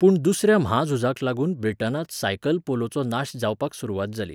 पूण दुसऱ्या म्हाझुजाक लागून ब्रिटनांत सायकल पोलोचो नाश जावपाक सुरवात जाली.